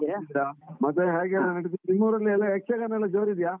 ಹ ಮತ್ತೆ ಎಂಥ ಹ್ಯಾಗೆಲ್ಲ ನಡಿತಿತ್ತು, ನಿಮ್ಮ ಊರಲ್ಲಿ ಎಲ್ಲ ಯಕ್ಷಗಾನ ಎಲ್ಲ ಜೋರಿದ್ಯಾ?